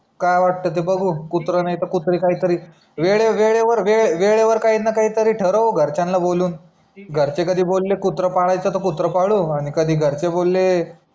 काय वाट ते बघू कुत्रा नाही तर कुत्री काही तरी वेडे वेडेवर वेडे वेडेवर काही ना काही तरी ठरऊ घरच्यांना बोलून घरचे कधी बोले कुत्रा पडायच तर कुत्रा पाडू आणि कधी घरचे बोले